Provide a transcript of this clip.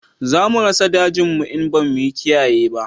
Za mu rasa dajin mu in ba mu kiyaye ba